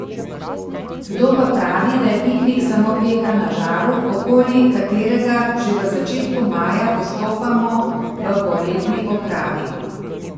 Kdo pa pravi, da je piknik samo peka na žaru, okoli katerega že v začetku maja postopamo v poletni opravi?